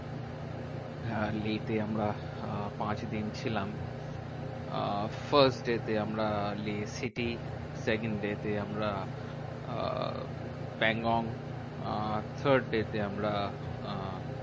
আহ লেহ তে আমরা আহ পাঁচ দিন ছিলাম। আহ first day তে আমরা লেহ city, second day তে আমরা আহ প্যানগং, আহ third day তে আমরা আহ